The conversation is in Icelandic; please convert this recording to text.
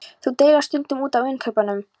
Þau deila stundum út af innkaupunum.